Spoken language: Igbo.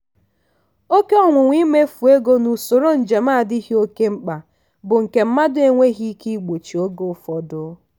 oke ọnwụnwa imefu ego na usoro njem adịghị oke mkpa bụ nke mmadụ enweghị ike igbochi oge ụfọdụ.